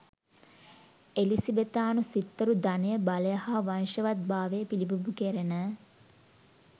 එලිසබෙතානු සිත්තරු ධනය බලය හා වංශවත්භාවය පිලිබිඹු කෙරෙන